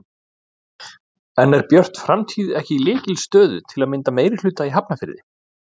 En er Björt framtíð ekki í lykilstöðu til að mynda meirihluta í Hafnarfirði?